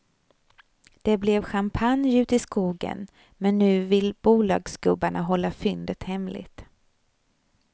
Det blev champagne ute i skogen, men nu vill bolagsgubbarna hålla fyndet hemligt.